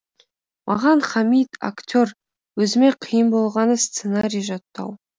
маған хамит актер өзіме қиын болғаны сценарий жаттау